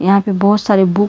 यहां पे बहुत सारे बुक --